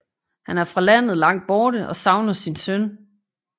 Han er fra landet Langt Borte og savner sin søn